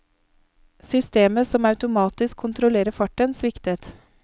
Systemet som automatisk kontrollerer farten, sviktet.